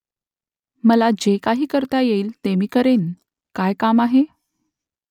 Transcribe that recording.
मला जे काही करता येईल ते मी करेन . काय काम आहे ?